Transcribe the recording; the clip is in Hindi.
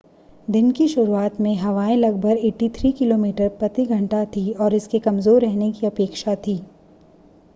दिन की शुरुआत में हवाएँ लगभग 83 किमी/घंटा थीं और इसके कमज़ोर रहने की अपेक्षा थी।